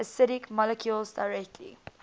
acidic molecules directly